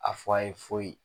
A fɔ a ye foyi.